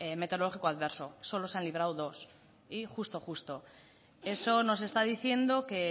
meteorológico adverso solo se han librado dos y justo justo eso nos está diciendo